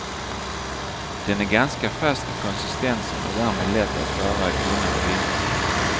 Den är ganska fast i konsistensen och därmed lätt att skära i tunna skivor.